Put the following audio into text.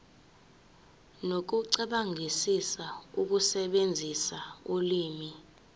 nokucabangisisa ukusebenzisa ulimi